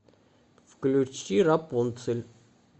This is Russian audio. включи рапунцель